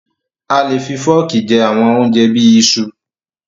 A le fi fọ́ọ́kì jẹ àwọn oúnjẹ bí i iṣu.